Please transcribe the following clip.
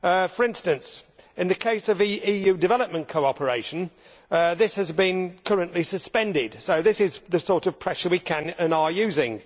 For instance in the case of EU development cooperation, this has been currently suspended, so this is the sort of pressure we can and are using.